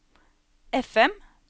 FM